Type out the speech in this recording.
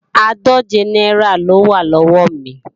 Àádòje náírà lówá lọ́wọ́ mi